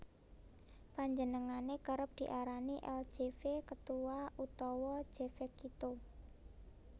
Panjenengané kerep diarani El jefe Ketua utawa Jefecito